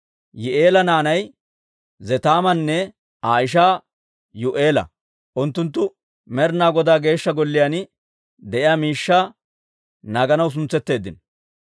Yihi'eela naanay Zetaamanne Aa ishaa Yuu'eela; unttunttu Med'inaa Godaa Geeshsha Golliyaan de'iyaa miishshaa naaganaw suntsetteeddino.